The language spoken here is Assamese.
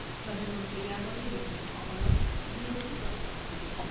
প্ৰধান মন্ত্ৰীয়ে ইয়াৰ বাবে বিজ্ঞানীসকলৰ ভূয়সী প্ৰশংসা কৰে।